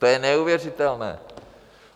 To je neuvěřitelné.